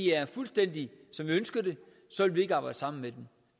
er fuldstændig som vi ønsker det så vil vi ikke arbejde sammen med dem